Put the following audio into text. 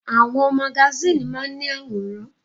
Àwọn magasíìnì máa ń ní àwòrán.